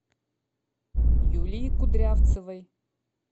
юлии кудрявцевой